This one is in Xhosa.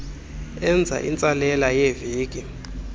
enza intsalela yeeveki